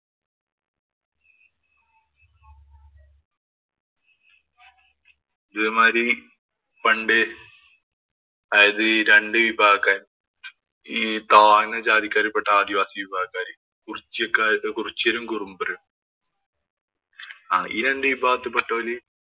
ഇതേ മാതിരി പണ്ട് അതായത് രണ്ടു വിഭാഗക്കാര് ഈ താഴ്ന്ന ജാതിക്കാരി പെട്ട ആദിവാസി വിഭാഗക്കാര് കുറിച്യക്കാര് കുരിച്യരും, കുറുമ്പരും ആഹ് ഈ രണ്ടു വിഭാഗത്തി പെട്ടവര്